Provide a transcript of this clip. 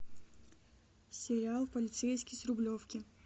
сериал полицейский с рублевки